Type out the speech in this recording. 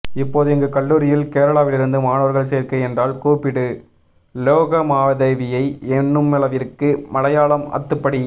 இப்போது இங்கு கல்லூரியில் கேரளாவிலிருந்து மாணவர்கள் சேர்க்கை என்றால் கூப்பிடு லோகமாதேவியை என்னுமளவிற்கு மலையாளம் அத்துப்படி